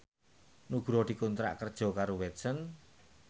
Nugroho dikontrak kerja karo Watson